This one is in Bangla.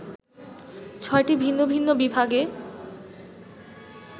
ছয়টি ভিন্ন ভিন্ন বিভাগে